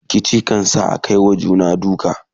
rikici kan sa Akai wa juna duka